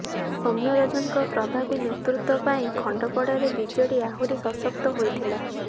ସୌମ୍ୟରଞ୍ଜନଙ୍କ ପ୍ରଭାବୀ ନେତୃତ୍ବ ପାଇଁ ଖଣ୍ଡପଡ଼ାରେ ବିଜେଡି ଆହୁରି ସଶକ୍ତ ହୋଇଥିଲା